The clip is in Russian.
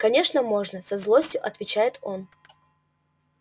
конечно можно со злостью отвечает он